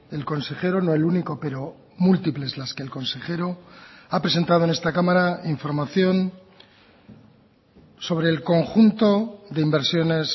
el consejero no el único pero múltiples las que el consejero ha presentado en esta cámara información sobre el conjunto de inversiones